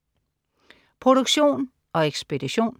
Produktion og ekspedition: